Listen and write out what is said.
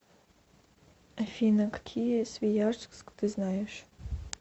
афина какие свияжск ты знаешь